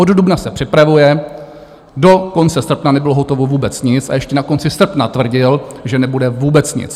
Od dubna se připravuje, do konce srpna nebylo hotovo vůbec nic a ještě na konci srpna tvrdil, že nebude vůbec nic.